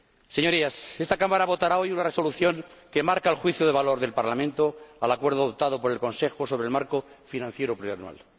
Señorías, esta Cámara votará hoy una Resolución que marca el juicio de valor del Parlamento al acuerdo adoptado por el Consejo sobre el marco financiero plurianual.